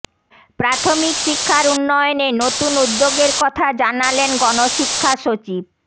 প্রাথমিক শিক্ষার উন্নয়নে নতুন উদ্যোগের কথা জানালেন গণশিক্ষা সচিব